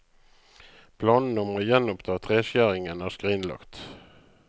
Planene om å gjenoppta treskjæringen er skrinlagt.